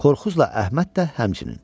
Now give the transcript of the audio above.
Korkuzla Əhməd də həmçinin.